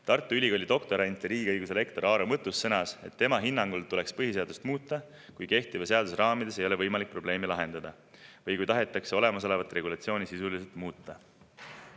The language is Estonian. Tartu Ülikooli doktorant ja riigiõiguse lektor Aaro Mõttus sõnas, et tema hinnangul tuleks põhiseadust muuta, kui kehtiva seaduse raamides ei ole võimalik probleeme lahendada või kui tahetakse olemasolevat regulatsiooni sisuliselt muuta.